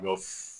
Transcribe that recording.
Ɲɔ f